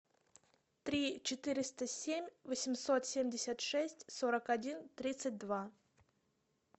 три четыреста семь восемьсот семьдесят шесть сорок один тридцать два